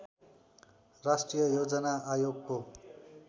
राष्ट्रिय योजना आयोगको